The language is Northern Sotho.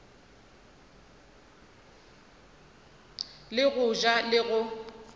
le go ja le go